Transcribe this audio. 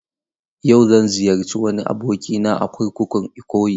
Yau, zan ziyarci wani abokina a kurkukun Ikoyi.